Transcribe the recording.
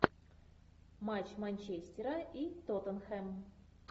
матч манчестера и тоттенхэм